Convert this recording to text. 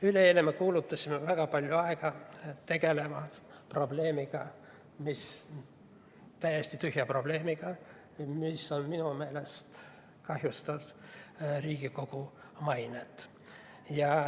Üleeile me kulutasime väga palju aega sellele, et tegeleda täiesti tühja probleemiga, mis minu meelest kahjustab Riigikogu mainet.